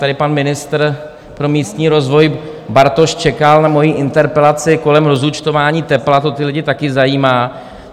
Tady pan ministr pro místní rozvoj Bartoš čekal na moji interpelaci kolem rozúčtování tepla, to ty lidi taky zajímá.